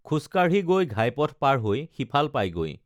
খোজকাঢ়ি গৈ ঘাইপথ পাৰ হৈ সিফাল পায়গৈ